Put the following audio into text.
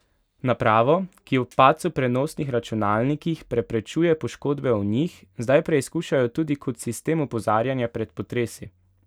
Napravo, ki ob padcu prenosnih računalnikih preprečuje poškodbe v njih, zdaj preizkušajo tudi kot sistem opozarjanja pred potresi.